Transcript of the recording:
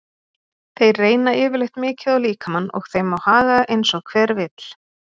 Þeir reyna yfirleitt mikið á líkamann og þeim má haga eins og hver vill.